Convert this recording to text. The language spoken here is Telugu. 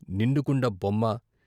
నిండుకుండ బొమ్మ